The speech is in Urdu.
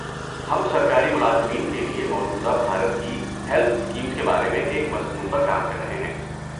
ہم سرکاری ملازمین کے لیے موجودہ بھارت کی ہیلتھ اسکیمز کے بارے میں ایک مضمون پر کام کر رہے ہیں۔